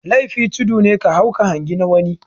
Laifi tudu ne ka hau ka hangi na wani